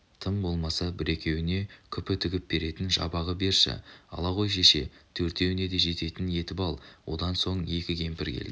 тым болмаса бір-екеуіне күпі тігіп беретін жабағы берші ала ғой шеше төртеуіне де жететін етіп ал одан соң екі кемпір келді